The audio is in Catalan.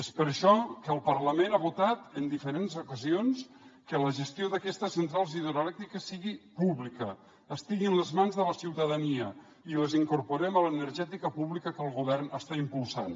és per això que el parlament ha votat en diferents ocasions que la gestió d’aquestes centrals hidroelèctriques sigui pública estigui a les mans de la ciutadania i les incorporem a l’energètica pública que el govern està impulsant